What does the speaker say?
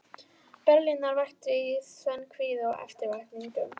Berlínar vakti í senn kvíða og eftirvæntingu.